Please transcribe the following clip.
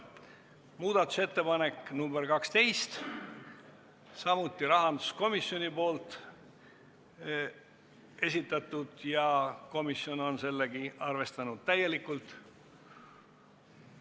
Muudatusettepanek nr 12, samuti rahanduskomisjoni esitatud, ja komisjon on sedagi arvestanud täielikult.